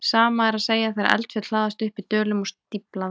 Sama er að segja þegar eldfjöll hlaðast upp í dölum og stífla þá.